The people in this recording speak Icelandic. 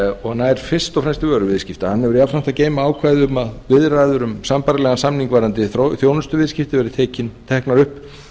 og nær fyrst og fremst yfir vöruviðskipti hann hefur jafnframt að geyma ákvæði um að viðræður um sambærilegan samning varðandi þjónustuviðskipti eru teknar upp